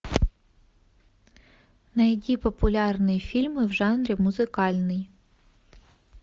найди популярные фильмы в жанре музыкальный